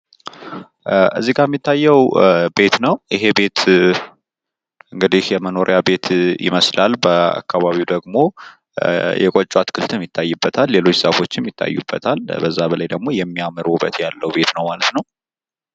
እዚጋ ሚታየው ቤት ነው፡፡ ይሄ ቤት እንግዲ የመኖሪያ ቤት ይመስላል፡፡ በአካባቢው ደሞ የቆጮ አትክልት ይታይበታል፤ ሌሎች ሻፎችም ይታዩበታል፡፡ በጣም የሚያምር ቤት ነው ማለት ነው፡፤